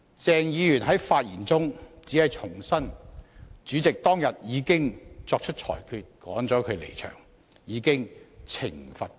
鄭議員在發言中只重申主席當天已作出裁決趕他離場，已對他作出懲罰。